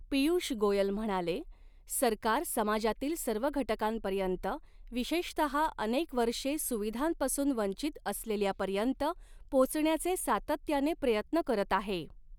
पीय़ूष गोयल म्हणाले, सरकार समाजातील सर्व घटकांपर्यंत विशेषतः अनेक वर्षे सुविधांपासून वंचित असलेल्यापर्यंत पोहचण्याचे सातत्याने प्रयत्न करत आहे.